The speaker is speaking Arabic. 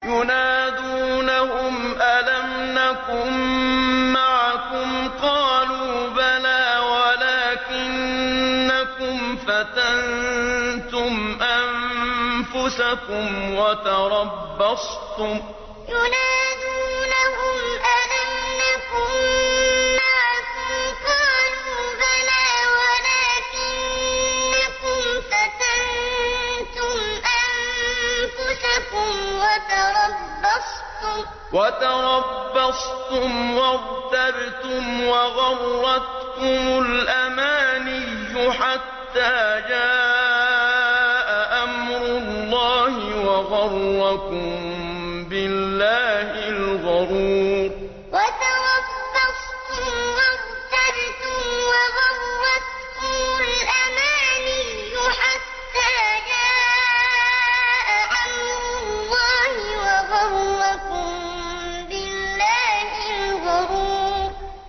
يُنَادُونَهُمْ أَلَمْ نَكُن مَّعَكُمْ ۖ قَالُوا بَلَىٰ وَلَٰكِنَّكُمْ فَتَنتُمْ أَنفُسَكُمْ وَتَرَبَّصْتُمْ وَارْتَبْتُمْ وَغَرَّتْكُمُ الْأَمَانِيُّ حَتَّىٰ جَاءَ أَمْرُ اللَّهِ وَغَرَّكُم بِاللَّهِ الْغَرُورُ يُنَادُونَهُمْ أَلَمْ نَكُن مَّعَكُمْ ۖ قَالُوا بَلَىٰ وَلَٰكِنَّكُمْ فَتَنتُمْ أَنفُسَكُمْ وَتَرَبَّصْتُمْ وَارْتَبْتُمْ وَغَرَّتْكُمُ الْأَمَانِيُّ حَتَّىٰ جَاءَ أَمْرُ اللَّهِ وَغَرَّكُم بِاللَّهِ الْغَرُورُ